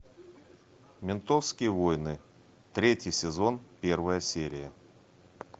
ментовские войны третий сезон первая серия